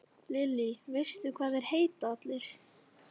Lillý: Veistu hvað þeir heita allir?